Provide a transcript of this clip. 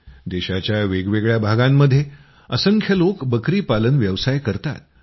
देशाच्या वेगवेगळ्या भागामध्ये असंख्य लोक बकरी पालन व्यवसाय करतात